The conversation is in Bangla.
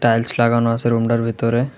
টাইলস লাগানো আছে রুমটার ভিতরে।